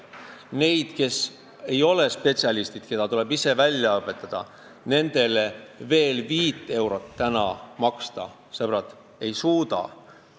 Neid, kes ei ole spetsialistid ja keda tuleb ise välja õpetada, ma veel 5 eurot maksta ei suuda, sõbrad.